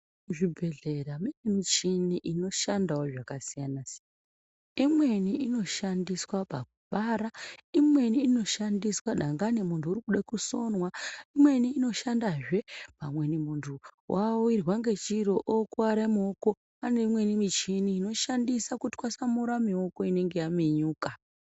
Muzvibhedhlera munewo michini inoshanda zvakasiyana-siyana. Imweni inoshandiswa pakubara. Imweni inoshandiswa dangani muntu arikude kusonwa. Imweni inoshandahe muntu awirwa ngechiro okuwara muoko kune imweni michini inoshanda kutwasamura mioko inenge yaminyuka.